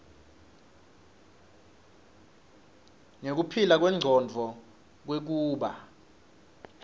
nekuphila kwengcondvo kwekuba